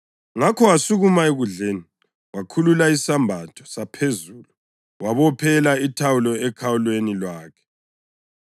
ngakho wasukuma ekudleni, wakhulula isembatho saphezulu, wabophela ithawulo ekhalweni lwakhe.